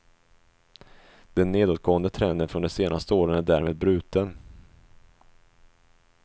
Den nedåtgående trenden från de senaste åren är därmed bruten.